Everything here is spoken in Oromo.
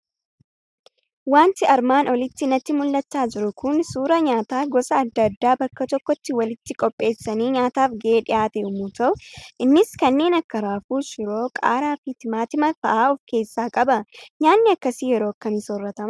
Waanti armaan olitti natti mul'achaa jiru Kun, suuraa nyaata gosa addaa addaa bakka tokkotti walitti qopheessanii, nyaataaf gahee dhihaate yemmuu ta'u, innis kanneen akka raafuu, shiroo, qaaraa fi timaatima fa'aa of keessaa qaba. Nyaatni akkasii yeroo akkamii soorratamaa?